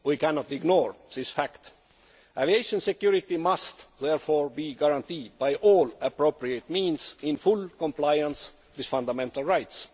We cannot ignore this fact. Aviation security must therefore be guaranteed by all appropriate means, in full compliance with fundamental rights.